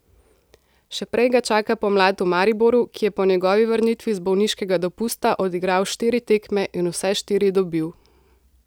Še prej ga čaka pomlad v Mariboru, ki je po njegovi vrnitvi z bolniškega dopusta odigral štiri tekme in vse štiri dobil.